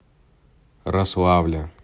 рославля